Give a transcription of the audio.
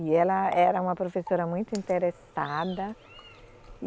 E ela era uma professora muito interessada.